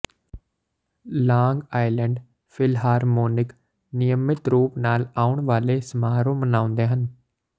long Island Philharmonic ਨਿਯਮਿਤ ਰੂਪ ਨਾਲ ਆਉਣ ਵਾਲੇ ਸਮਾਰੋਹ ਮਨਾਉਂਦੇ ਹਨ